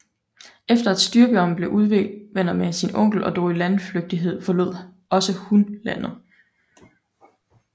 Efter at Styrbjørn blev uvenner med sin onkel og drog i landflygtighed forlod også hun landet